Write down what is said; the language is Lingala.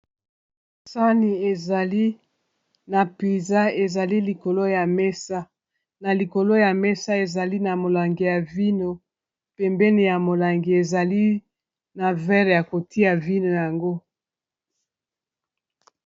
Sani ezali na piza, ezali likolo ya mesa na likolo ya mesa ezali na molangi ya vino pembeni ya molangi ezali na verre ya kotia vino yango.